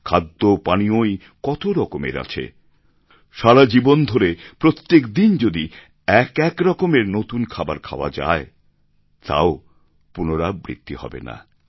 খাদ্য পানীয়ই কত রকমের আছে সারা জীবন ধরে প্রত্যেক দিন যদি এক একরকমের নতুন খাবার খাওয়া যায় তা ও পুনরাবৃত্তি হবে না